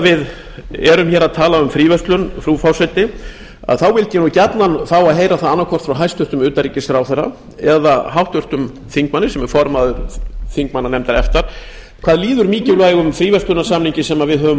við erum að tala um fríverslun frú forseti vildi ég gjarnan fá að heyra það annaðhvort frá hæstvirtum utanríkisráðherra eða háttvirtum þingmanni sem er formaður þingmannanefndar efta hvað líður mikilvægum fríverslunarsamningi sem við höfum